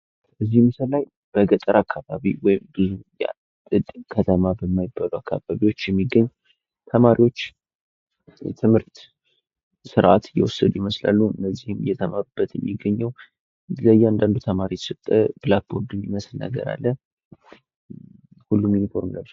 የአስተማሪዎች ሚና ተማሪዎችን በማነሳሳት፣ በመምራትና ዕውቀት እንዲገብዩ በማድረግ የትምህርት ስኬትን ማረጋገጥ ነው።